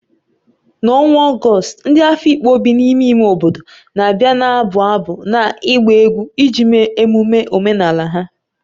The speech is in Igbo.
N'ọnwa Ọgọst, ndị Afikpo bi n'ime ime obodo na-abịa na-abụ abụ na ịgba egwu iji mee emume omenala ha.